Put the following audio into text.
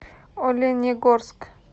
оленегорск